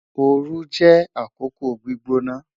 Ooru jẹ akoko gbigbona